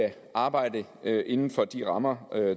arbejde inden for de rammer